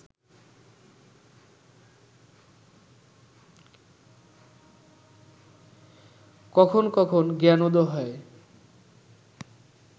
কখন কখন জ্ঞানোদয় হয়